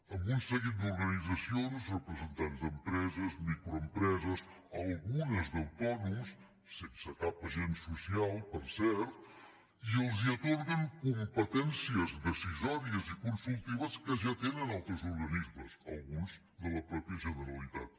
amb un seguit d’organitzacions representants d’empreses microempreses algunes d’autònoms sense cap agent social per cert i els atorguen competències decisòries i consultives que ja tenen altres organismes alguns de la mateixa generalitat